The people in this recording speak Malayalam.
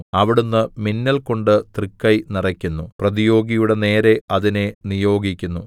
അവിടുന്ന് മിന്നൽകൊണ്ട് തൃക്കൈ നിറയ്ക്കുന്നു പ്രതിയോഗിയുടെ നേരെ അതിനെ നിയോഗിക്കുന്നു